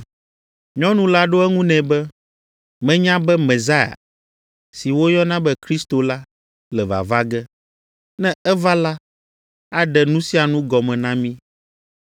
Nyɔnu la ɖo eŋu nɛ be, “Menya be Mesia” (si woyɔna be Kristo la) “le vava ge. Ne eva la aɖe nu sia nu gɔme na mí.”